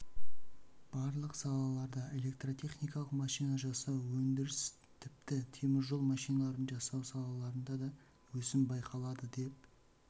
барлық салаларында электротехникалық машина жасау автоөндіріс тіпті теміржол машиналарын жасау саласында да өсім байқалады деп